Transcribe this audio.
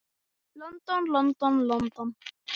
London, London, London.